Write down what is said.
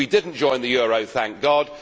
We did not join the euro, thank God.